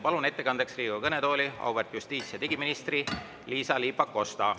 Palun ettekandeks Riigikogu kõnetooli auväärt justiits‑ ja digiministri Liisa-Ly Pakosta.